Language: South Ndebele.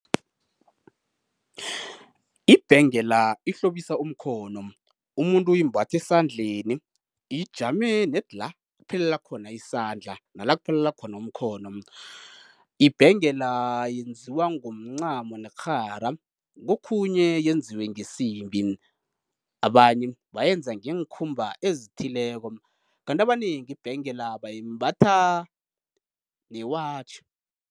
Ibhengela ihlobisa umkhono, umuntu uyimbatha esandleni, ijame nedi la kuphelela khona isandla, nala kuphelela khona umkhono. Ibhengela yenziwa ngomncamo nekghara kokhunye yenziwe ngesimbi, abanye bayenza ngeenkhumba ezithileko kanti abanengi ibhengela bayimbatha newatjhi.